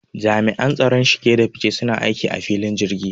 Jami'an tsaron shige da fice suna aikin a filayen jirgi